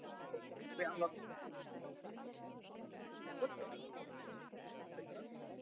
Og allt of sjaldan er hlustað á veðurspána.